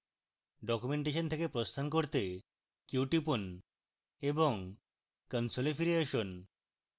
documentation থেকে প্রস্থান করতে q টিপুন এবং console ফিরে আসুন